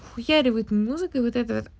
хуярю вот эту музыкой вот этой вот